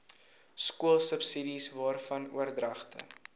skoolsubsidies waarvan oordragte